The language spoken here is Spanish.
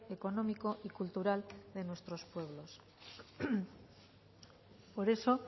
económico y cultural de nuestros pueblos por eso